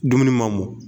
Dumuni ma mɔ